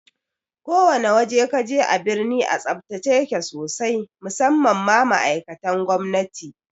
Ko wane waje kaje a birni a tsaftace yake sosai musamman ma ma'aikatan gwamnati